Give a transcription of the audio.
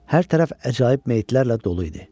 Hər tərəf əcaib meyitlərlə dolu idi.